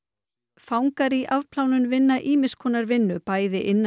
fangar í afplánun vinna ýmiss konar vinnu bæði innan